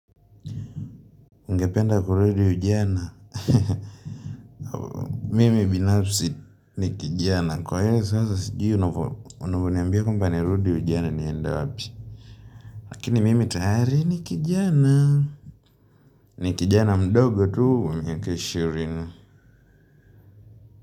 Ngependa kurudi ujana mimi binafsi ni kijana kwa hiyo sasa sijui unavoniambia kwamba nirudi ujana niende wabi lakini mimi tayari ni kijana ni kijana mdogo tu wa miaka ishirini.